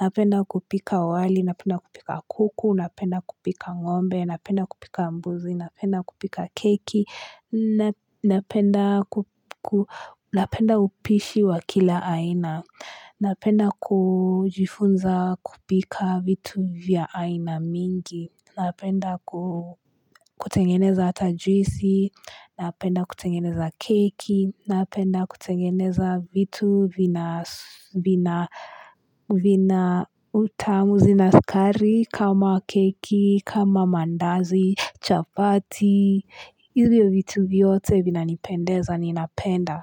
Napenda kupika wali, napenda kupika kuku, napenda kupika ngombe, napenda kupika mbuzi, napenda kupika keki, napenda upishi wa kila aina, napenda kujifunza kupika vitu vya aina mingi, Napenda kutengeneza ata juisi, napenda kutengeneza keki, napenda kutengeneza vitu vina utamu zinasukari kama keki, kama mandazi, chapati, hivyo vitu vyote vina nipendeza ni napenda.